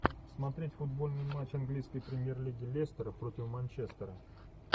смотреть футбольный матч английской премьер лиги лестера против манчестера